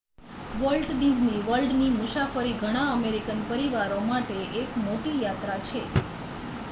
volt Disney વર્લ્ડની મુસાફરી ઘણા અમેરિકન પરિવારો માટે એક મોટી યાત્રા છે